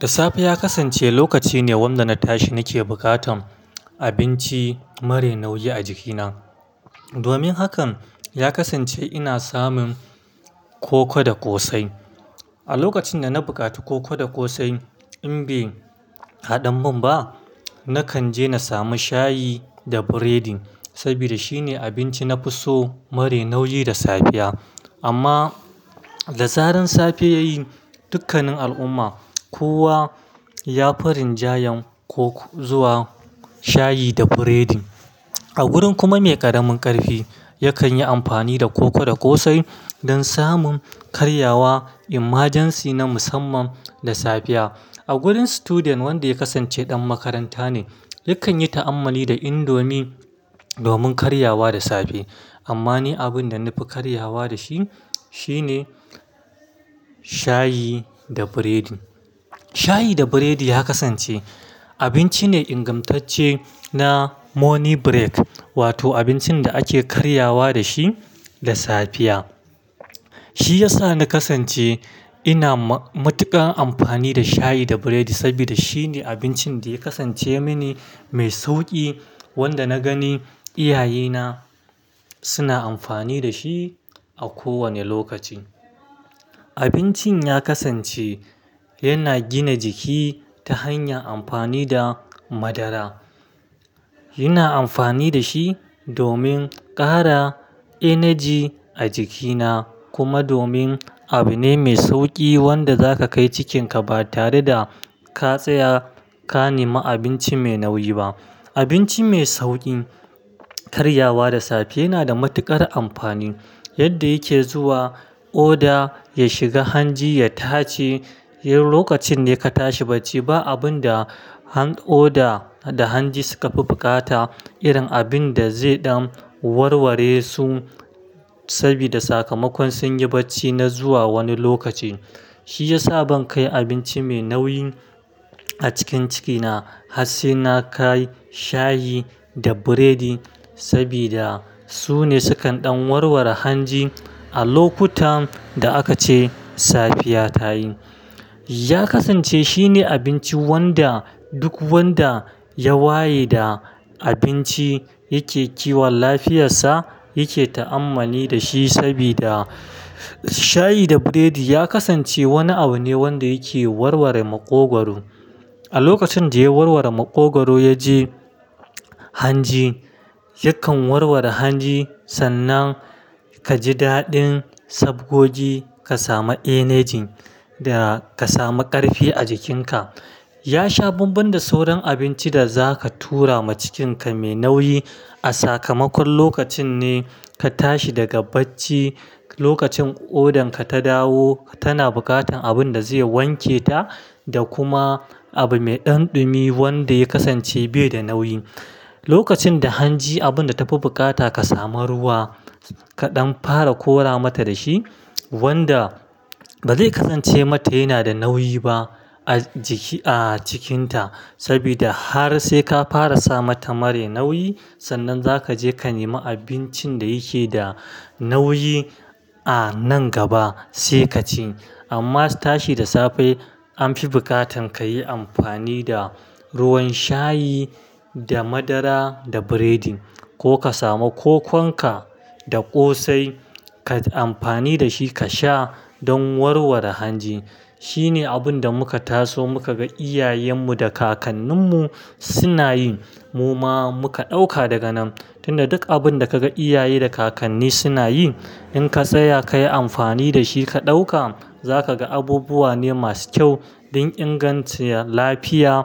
Da safe ya kasance lokaci ne wanda na tashi nake bukatan abinci mare nauyi a jikina. Domin hakan, ya kasance ina samun koko da kosai. A lokacin da na bukati koko da kosai in bai haɗan mun ba, nakan je na sami shayi da biredi saboda shine abinci na fi so mare nauyi da safiya. Amma da zaran safe yayi, dukkanin al'umma kowa ya fi rinjayen ko zuwa shayi da biredi. A gurin kuma me karamin karfi yakan yi amfani da koko da kosai don samun karyawa emergency na musamman da safiya. A gurin student wanda ya kasance dan makaranta ne yakan yi ta'ammali da indomie domin karya wa da safe. Amma ni abin da na fi karyawa da shi shine shayi da biredi. Shayi da biredi ya kasance abinci ne ingamtacce na morning break wato abincin da ake karyawa da shi da safiya. Shi ya sa na kasance ina matuƙar amfani da shayi da biredi sabida shi ne abincin da ya kasance mani mai sauƙi wanda na gani iyaye na suna amfani da shi a ko wane lokaci. Abincin ya kasance yana gina jiki ta hanyar amfani da madara. Ina amfani da shi domin ƙara energy a jikina kuma domin abu ne mai sauƙi wanda zaka kai cikin ka ba tare da ka tsaya ka nema abinci mai nauyi ba. Abinci mai sauƙin karyawa da safe yana da matuƙar amfani yadda yake zuwa oda ya shiga hanji ya tace. Lokacin ne ka tashi bacci ba abun da oda da hanji suka fi bukata irin abun da ze ɗan warware su sabida sakamakon sun yi bacci na zuwa wani lokaci. Shi ya sa ban kai abinci mai nauyi a cikin cikina har sai na kai shayi da biredi sabida su ne su kan ɗan warware hanji a lokutan da aka ce safiya ta yi. Ya kasance shine abinci wanda duk wanda ya waye da abinci yake kiwon lafiyarsa yake ta'ammali da shi sabida shayi da biredi ya kasance wani abu ne wanda yake warware maƙogwaro. A lokacin da ya warware maƙogwaro, yaje hanji yakan warware hanji sannan ka ji daɗin sabgogi ka samu energy da ka samu ƙarfi a jikinka. Ya sha banban da sauran abinci da za ka tura ma cikin ka mai nauyi a sakamakon lokacin ne ka tashi daga bacci, lokacin odan ka ta dawo tana bukatan abun da zai wanke ta da kuma abu mai ɗan ɗumi wanda ya kasance bai da nauyi. Lokacin da hanji abun da ta fi bukata ka samu ruwa kaɗan fara kora mata da shi wanda ba zai kasance mata yana da nauyi ba a jiki, a cikinta saboda har sai ka fara sa mata mare nauyi sannan za ka je ka nema abincin da yake da nauyi a nan gaba sai ka ci. Amma tashi da safe an fi bukatan ka yi amfani da ruwan shayi da madara da biredi ko ka samu kokon ka da kosai kai amfani da shi ka sha don warware hanji. Shi ne abun da muka taso muka ga iyayen mu da kakannin mu suna yi. Mu ma muka ɗauka daga nan. Tun da duk abun da kaga iyaye da kakanni suna yi in ka tsaya ka yi amfani da shi ka ɗauka za ka ga abubuwa ne masu kyau don ingancin lafiya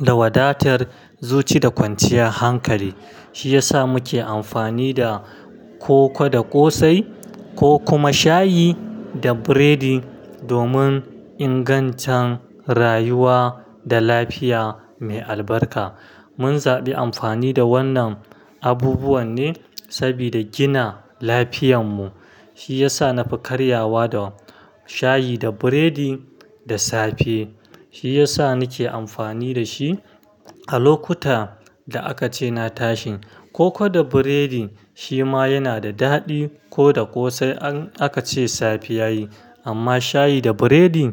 da wadatar zuci da kwanciyar hankali. Shi ya sa muke amfani da koko da kosai ko kuma shayi da breading domin ingantaccen rayuwa da lafiya mai albarka. Mun zaɓi amfani da wannan abubuwan ne sabida gina lafiyanmu. Shi ya sa na fi karyawa da shayi da breading da safe. Shi ya sa nake amfani da shi a lokuta da aka ce na tashi. Koko da biredi shi ma yana da daɗi ko da kosai in aka ce safe yayi amma shayi da biredi.